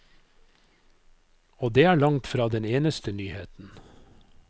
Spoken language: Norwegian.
Og det er langt fra den eneste nyheten.